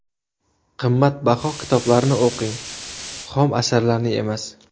Qimmatbaho kitoblarni o‘qing, xom asarlarni emas.